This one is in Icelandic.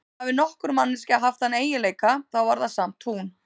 En hafi nokkur manneskja haft þann eiginleika, þá var það samt hún.